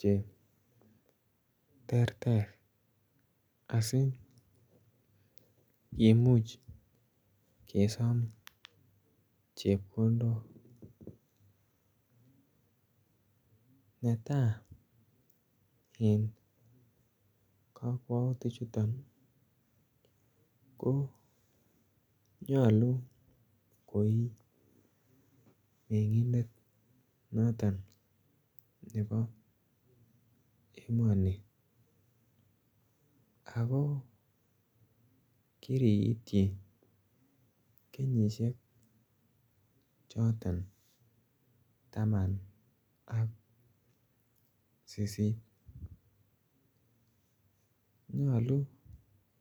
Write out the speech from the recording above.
che terter asikomuuch kesaam chepkondook netai eng kakwautiik chutoon ko nyaluu koii mengindeet notoon nebo emanii ako kiriityi kenyisiek chotoon tamaan ak sisiiit nyaluu